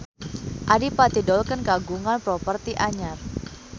Adipati Dolken kagungan properti anyar